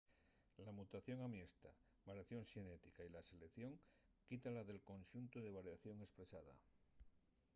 la mutación amiesta variación xenética y la selección quítala del conxuntu de variación espresada